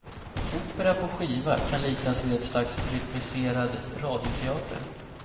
Opera på skiva kan liknas vid ett slags rytmiserad radioteater.